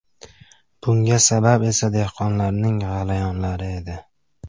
Bunga sabab esa dehqonlarning g‘alayonlari edi.